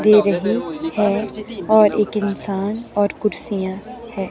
दे रही और एक इंसान और कुर्सियां है।